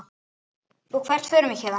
Og hvert förum við héðan?